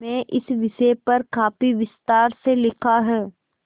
में इस विषय पर काफी विस्तार से लिखा है